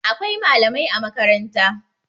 Akwai malamai a makaranta